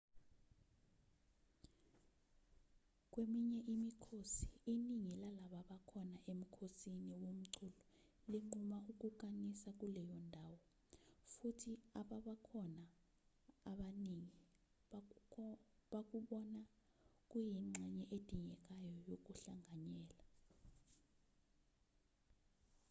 kweminye imikhosi iningi lababakhona emkhosini womculo linquma ukukanisa kuleyo ndawo futhi ababakhona abaningi bakubona kuyingxenye edingekayo yokuhlanganyela